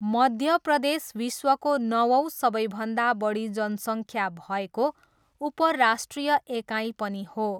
मध्य प्रदेश विश्वको नवौँ सबैभन्दा बढी जनसङ्ख्या भएको उप राष्ट्रिय एकाइ पनि हो।